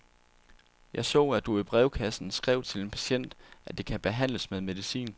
Jeg så, at du i brevkassen skrev til en patient at det kan behandles med medicin.